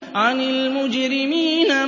عَنِ الْمُجْرِمِينَ